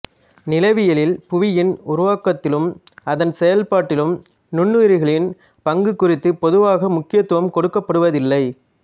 நிலவியலில் புவியின் உருவாக்கத்திலும் அதன் செயல்பாட்டிலும் நுண்ணுயிரிகளின் பங்கு குறித்து பொதுவாக முக்கியத்துவம் கொடுக்கப்படுவதில்லை